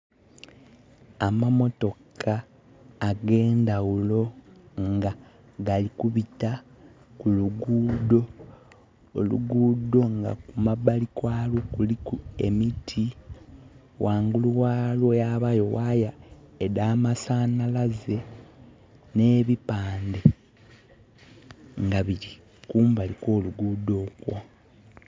Amamotoka ag'endhagulo nga gali kubita ku luguudho. Oluguudho nga kumabali kwalwo kuliku emiti. Ghangulu ghayo ghabayo wire edh'amasanhalaze. Nh'ebipande nga bili kumbali kw'oluguudho okwo.